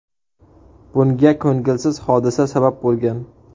Bunga ko‘ngilsiz hodisa sabab bo‘lgan.